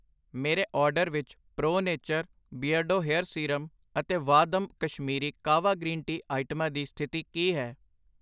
ਮੇਰੇ ਆਰਡਰ ਵਿੱਚ pro nature, ਬਿਰਡੋ ਵਾਲ ਸੀਰਮ ਅਤੇ ਵਾਹਦਮ ਕਸ਼ਮੀਰੀ ਕਾਹਵਾ ਗ੍ਰੀਨ ਟੀ ਆਈਟਮਾਂ ਦੀ ਸਥਿਤੀ ਕੀ ਹੈ?